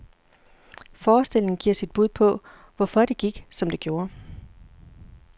Forestillingen giver sit bud på, hvorfor det gik, som det gjorde.